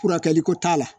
Furakɛli ko t'a la